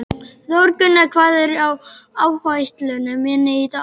Þórgunna, hvað er á áætluninni minni í dag?